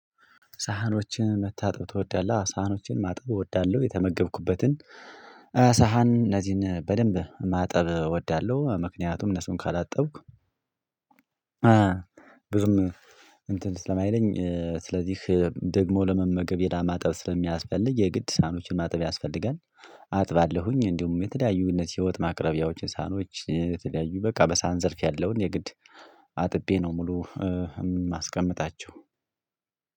ሳህኖችን መታጠብ ትወዳለህ? ሳህኖችን ማጠብ እወዳለሁ የተመገብኩበትን ሳህን እነዚህን በደንብ ማጠብ እወዳለሁ። ምክንያቱም እነሱን ካላጠብኩ ብዙም እንትን ስለማይለኝ ስለዚህ ደግሞ ለመመገብ የዳ ማጠብ ስለሚያስፈልግ የግድ ሳኖችን ማጠብ ያስፈልጋል። አጥባለሁኝ እንዲሁም የተለያዩ እነዚህ የወጥ ማቅረቢያዎችን ሳህኖች የተለያዩ በቃ በሰሃን ዘርፍ ያለውን የግድ አጥቤ ነው። ሙሉ የማስቀምጣቸው።